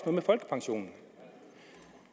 om folkepensionen og